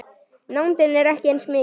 Nándin er ekki eins mikil.